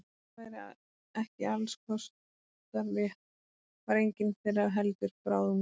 Þótt það væri ekki alls kostar rétt var enginn þeirra heldur bráðungur.